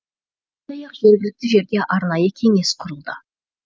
сондай ақ жергілікті жерде арнайы кеңес құрылды